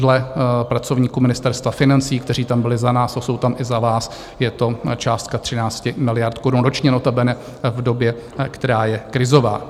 Dle pracovníků Ministerstva financí, kteří tam byli za nás a jsou tam i za vás, je to částka 13 miliard korun ročně, notabene v době, která je krizová.